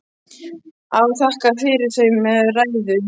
Afi þakkaði fyrir þau með ræðu.